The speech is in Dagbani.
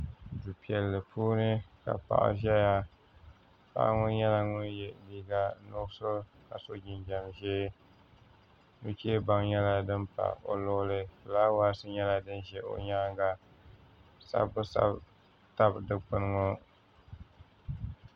Du piɛlli puuni ka paɣa ʒɛya paɣa ŋo nyɛla ŋun yɛ liiga nuɣuso ka so jinjɛm ʒiɛ nuchɛ baŋ nyɛla din pa o luɣuli fulaawaasi nyɛla din ʒɛ o nyaanga sabbu sabbu tabi dikpuni ŋo